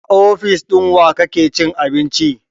A ofis ɗin wa kake cin abinci?